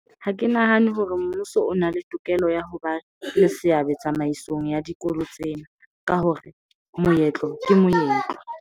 Ha ke nahane hore mmuso o na le tokelo ya hoba le seabo tsamaisong ya dikolo tsena. Ka hore moetlo ke moetlo.